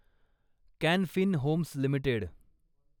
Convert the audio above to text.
can Fin Homes limited